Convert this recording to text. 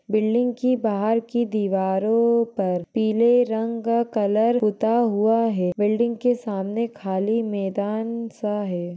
Building की बाहर की दीवारों पर पीले रंग कलर पुता हुआ हैं बिल्डिंग के सामने खाली मैदान सा हैं।